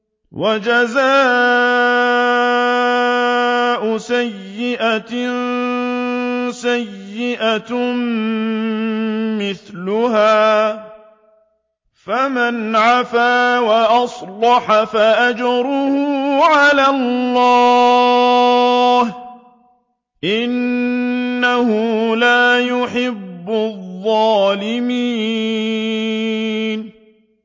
وَجَزَاءُ سَيِّئَةٍ سَيِّئَةٌ مِّثْلُهَا ۖ فَمَنْ عَفَا وَأَصْلَحَ فَأَجْرُهُ عَلَى اللَّهِ ۚ إِنَّهُ لَا يُحِبُّ الظَّالِمِينَ